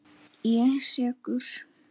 Ég er sekur.